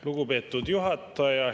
Lugupeetud juhataja!